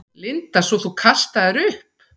Linda: Svo þú kastaðir upp?